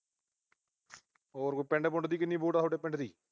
ਹੋਰ ਪਿੰਡ ਪੁੰਡ ਦੀ ਕਿੰਨੀ ਵੋਟ ਆ ਥੋਡੇ ਪਿੰਡ ਦੀ